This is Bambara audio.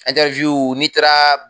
n'i taara